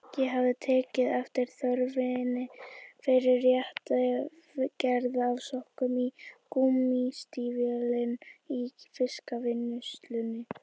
Ég hafði tekið eftir þörfinni fyrir rétta gerð af sokkum í gúmmístígvélin í fiskvinnslunni.